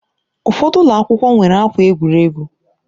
Ụfọdụ ụlọ akwụkwọ nwere akwa egwuregwu